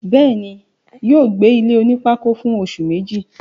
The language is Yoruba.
bẹ́ẹ̀ni, yóò gbé ilé onípákó fún oṣù Méjì